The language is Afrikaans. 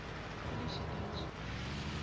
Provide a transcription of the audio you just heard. polisiediens